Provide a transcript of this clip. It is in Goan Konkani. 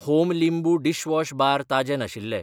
होम लिंबू डिशवॉश बार ताजें नाशिल्ले.